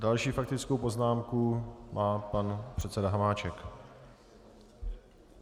Další faktickou poznámku má pan předseda Hamáček.